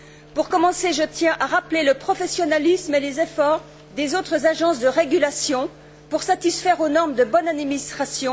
Pour commencer, je tiens à rappeler le professionnalisme et les efforts des autres agences de régulation pour satisfaire aux normes de bonne administration.